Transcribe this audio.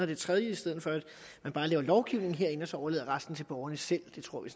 det tredje i stedet for man bare laver lovgivning herinde og så overlader resten til borgerne selv det tror vi